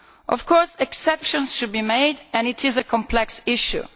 Of course exceptions should be made, and it is a complex issue.